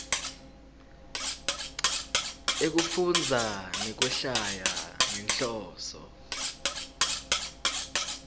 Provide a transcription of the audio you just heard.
ekufundza nekwehlwaya ngenhloso